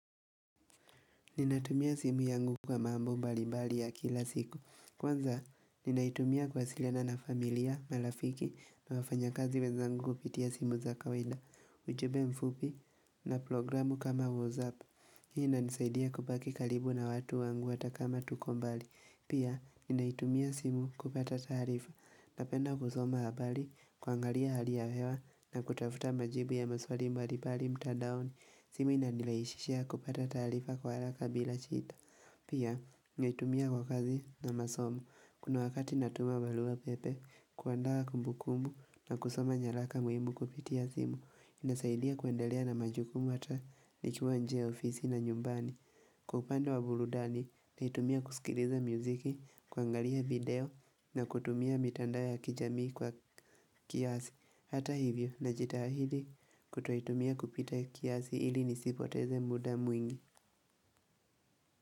Ninatumia simu yangu kwa mambo mbalimbali ya kila siku. Kwanza, ninaitumia kuwasiliana na familia, malafiki, na wafanya kazi weza ngu upitia simu za kawaida, ujube mfupi, na programu kama WhatsApp. Hii ina nisaidia kubaki kalibu na watu wangu hatakama tuko mbali. Pia, ninaitumia simu kupata taarifa. Napenda kusoma habali, kuangalia hali ya hewa na kutafuta majibu ya maswali mbalimbali mtadaoni. Simu ina nilaishishia kupata tarifa kwa alaka bila shida. Pia, naitumia kwa kazi na masomo. Kuna wakati natuma balua pepe, kuandaa kumbukumu na kusoma nyalaka muimu kupitia simu. Inasaidia kuendelea na majukumu ata ikiwa nje ya ofisi na nyumbani kwa upande wa buludani naitumia kusikiliza muziki kuangalia video na kutumia mitandao ya kijamii kwa kiasi hata hivyo najitahidi kutoitumia kupita kiasi hili nisipoteze muda mwingi.